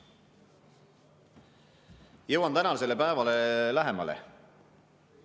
Jõuan tänasele päevale lähemale.